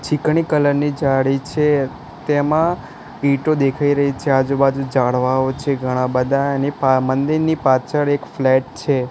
છીકણી colour ની જાળી છે તેમાં ઈટો દેખાઈ રહી છે આજુબાજુ જાળવાઓ છે ઘણા બધા એની પા મઁદિરની પાછળ એક ફ્લેટ છે.